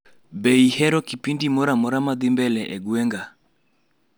Iyero kipindi amoramora madhii mbele e gweng'a